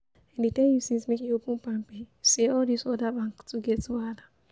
I dey tell you since make you open palmpay, sey all this other bank too get wahala